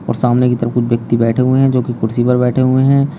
और सामने की तरफ कुछ व्यक्ति बैठे हुए हैं जो कि कुर्सी पर बैठे हुए हैं।